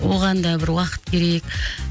оған да бір уақыт керек